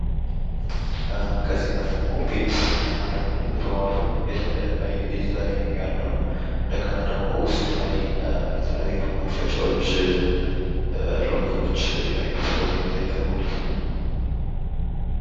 ከዚህ ጋር ደግሞ ቤት ያማረ የተዋበ ዲዛይን አለው። እንደገና ደግሞ ውስጡ ላይ የተለያዩ መክፈቻዎች ሎከሮች ያሉበት ቦታ ይታያል ማለት ነው።